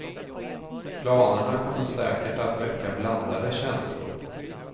Planerna kommer säkert att väcka blandade känslor.